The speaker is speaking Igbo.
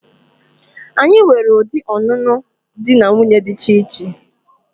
Anyi nwere udi ọnụnụ di na nwuńye dicha iche.